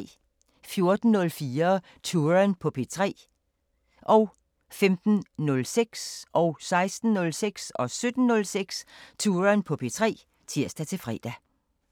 14:04: Touren på P3 (tir-fre) 15:06: Touren på P3 (tir-fre) 16:06: Touren på P3 (tir-fre) 17:06: Touren på P3 (tir-fre)